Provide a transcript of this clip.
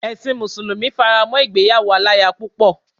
Ẹ̀sin mùsùlùmí fará mọ́ ìgbéyàwó aláya púpọ̀.